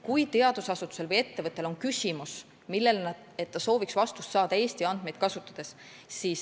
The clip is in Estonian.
Teadusasutusel või ettevõttel võib olla küsimus, millele ta sooviks saada vastust Eesti andmeid kasutades.